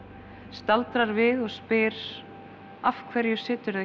staldrar við og spyr af hverju